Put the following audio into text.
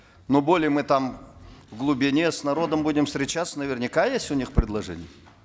но более мы там в глубине с народом будем встречаться наверняка есть у них предложения